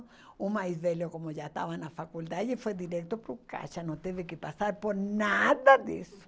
O mais velho, como já estava na faculdade, foi direto para o caixa, não teve que passar por nada disso.